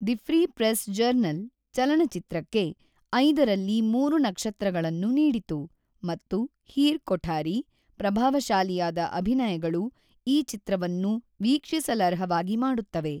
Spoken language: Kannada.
ದಿ ಫ್ರೀ ಪ್ರೆಸ್ ಜರ್ನಲ್ ಚಲನಚಿತ್ರಕ್ಕೆ ಐದರಲ್ಲಿ ಮೂರು ನಕ್ಷತ್ರಗಳನ್ನು ನೀಡಿತು ಮತ್ತು ಹೀರ್ ಕೊಠಾರಿ, ಪ್ರಭಾವಶಾಲಿಯಾದ ಅಭಿನಯಗಳು ಈ ಚಿತ್ರವನ್ನು ವೀಕ್ಷಿಸಲರ್ಹವಾಗಿ ಮಾಡುತ್ತವೆ.